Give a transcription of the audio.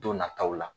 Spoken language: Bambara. Don nataw la